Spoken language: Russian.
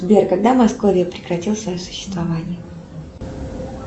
сбер когда московия прекратила свое существование